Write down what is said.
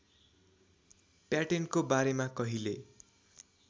प्याटेन्टको बारेमा कहिले